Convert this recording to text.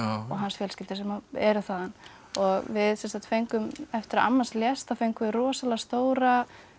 hans fjölskyldu sem eru þaðan við sem sagt fengum eftir að amma hans lést fengum við rosalega stóra